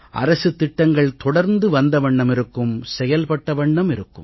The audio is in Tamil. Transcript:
அரசுத் திட்டங்கள் தொடர்ந்து வந்த வண்ணம் இருக்கும் செயல்பட்ட வண்ணம் இருக்கும்